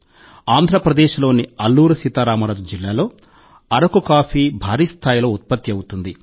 ఆంధ్రప్రదేశ్లోని అల్లూరి సీతా రామరాజు జిల్లాలో అరకు కాఫీ భారీ స్థాయిలో ఉత్పత్తి అవుతుంది